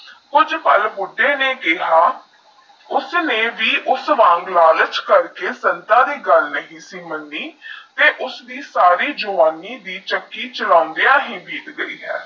ਕੁਜ ਪਾਲ ਬੁੜੇ ਨੈ ਕਿਹਾ ਉਸਨੇ ਵੀ ਯੂਐਸਐਸ ਵਾਂਗ ਲਾਲਚ ਕਰ ਕੇ ਸੰਗਤਾ ਦੀ ਗਾਲ ਨਹੀ ਸੀ ਮਨੀ ਤੇਹ ਯੂਐਸਐਸ ਦੀ ਸਾਰੀ ਜਵਾਨੀ ਚੱਕੀ ਚਲੋਂਦੀ ਹੀ ਬਿੱਟ ਗਾਈ ਹੈ